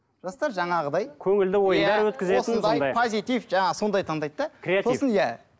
жастар жаңағыдай көңілді ойындар өткізетін позитив жаңағы сондай таңдайды да